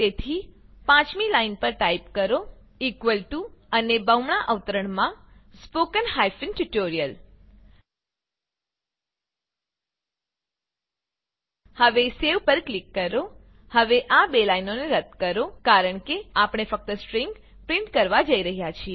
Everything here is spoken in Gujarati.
તેથી 5મી લાઈન પર ટાઈપ કરો અને બમણા અવતરણમાં સ્પોકન ટ્યુટોરિયલ હવે સેવ પર ક્લિક કરો હવે આ બે લાઈનોને રદ્દ કરો કારણ કે આપણે ફક્ત સ્ટ્રીંગ પ્રીંટ કરવા જ જઈ રહ્યા છીએ